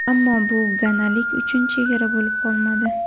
Ammo bu ganalik uchun chegara bo‘lib qolmadi.